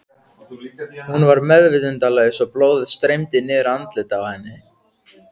Hún var meðvitundarlaus og blóðið streymdi niður andlitið á henni.